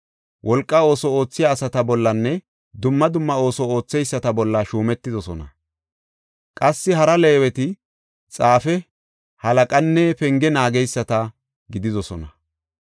wolqa ooso oothiya asata bollanne dumma dumma ooso ootheyisata bolla shuumetidosona. Qassi hara Leeweti xaafe, halaqanne penge naageysata gididosona.